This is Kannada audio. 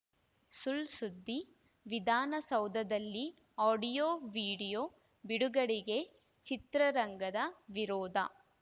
ಸುಳ್‌ ಸುದ್ದಿ ವಿಧಾನಸೌಧದಲ್ಲಿ ಆಡಿಯೋ ವಿಡಿಯೋ ಬಿಡುಗಡೆಗೆ ಚಿತ್ರರಂಗದ ವಿರೋಧ